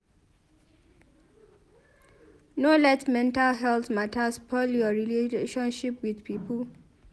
No let mental healt mata spoil your relationship with pipo.